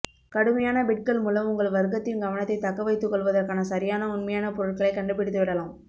கடுமையான பிட்கள் மூலம் உங்கள் வர்க்கத்தின் கவனத்தைத் தக்கவைத்துக் கொள்வதற்கான சரியான உண்மையான பொருட்களை கண்டுபிடித்து விடலாம்